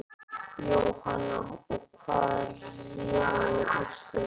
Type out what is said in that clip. Jóhanna: Og hvað réði úrslitum?